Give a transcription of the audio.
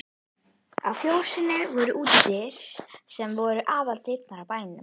Á fjósinu voru útidyr sem nú voru aðaldyrnar á bænum.